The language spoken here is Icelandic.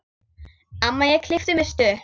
Amma ég klippi mig stutt.